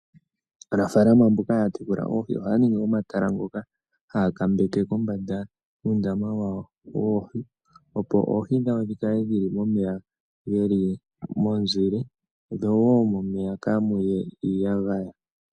Aanafalama mboka haya tekula oohi ohaya ningi omatala ngoka haya kambeke kombanda yuundama wawo woohi. Opo oohi dhawo dhikale dhili momeya geli momuzile, dho wo momeya kaamuye iiyagaya.